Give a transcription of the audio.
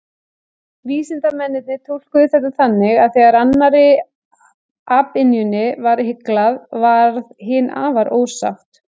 Vísindamennirnir túlkuðu þetta þannig að þegar annarri apynjunni var hyglað, varð hin afar ósátt.